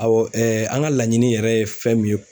Awɔ an ka laɲini yɛrɛ ye fɛn min ye